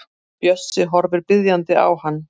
Bjössi horfir biðjandi á hann.